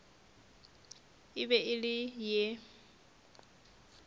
e be e le ye